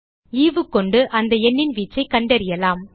ஈவு கொண்டு அந்த எண்ணின் வீச்சைக் கண்டறியலாம்